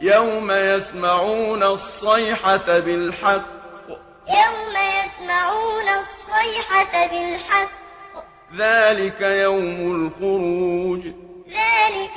يَوْمَ يَسْمَعُونَ الصَّيْحَةَ بِالْحَقِّ ۚ ذَٰلِكَ يَوْمُ الْخُرُوجِ يَوْمَ يَسْمَعُونَ الصَّيْحَةَ بِالْحَقِّ ۚ ذَٰلِكَ